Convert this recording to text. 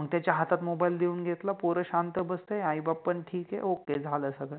मंग त्याच्या हातात Mobile देउन घेतल, पोर शांत बसते, आई बाप पण ठिक आहे ओके, झाल सगळ.